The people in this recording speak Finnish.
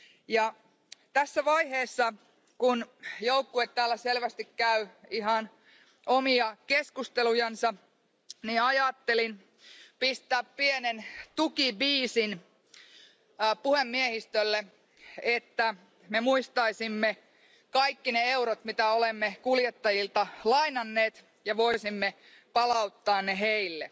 Ja tässä vaiheessa, kun joukkue täällä selvästi käy ihan omia keskustelujansa, niin ajattelin pistää pienen tukibiisin puhemiehistölle, että me muistaisimme kaikki ne eurot, mitä olemme kuljettajilta lainanneet ja voisimme palauttaa ne heille.